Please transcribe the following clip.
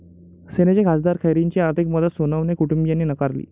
सेनेचे खासदार खैरेंची आर्थिक मदत सोनवणे कुटुंबियांनी नाकारली!